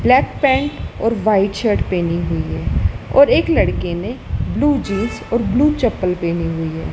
Black pant और white shirt पहनी हुई है और एक लड़के ने ब्लू जींस और ब्लू चप्पल पहनी हुई है।